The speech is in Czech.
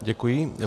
Děkuji.